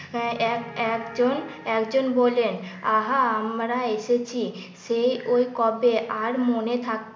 আহ এক একজন একজন বললেন আহা আমরা এসেছি সেই ওই কবে আর মনে থাক